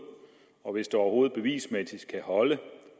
og hvis det overhoved bevismæssigt kan holde